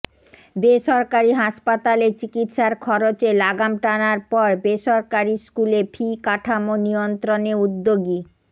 বেসরকারি হাসপাতালে চিকিৎসার খরচে লাগাম টানার পর বেসরকারি স্কুলে ফি কাঠামো নিয়ন্ত্রণে উদ্যোগী